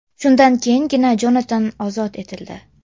Shundan keyingina Jonatan ozod etildi.